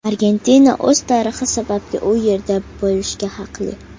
Argentina o‘z tarixi sababli u yerda bo‘lishga haqli.